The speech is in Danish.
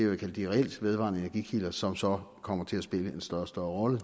vil kalde de reelt vedvarende energikilder som så kommer til at spille en større og større rolle